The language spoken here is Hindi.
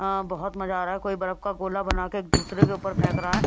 अ बहुत मजा आ रहा है कोई बर्फ का गोला बना के एक दूसरे के ऊपर फेंक रहा है।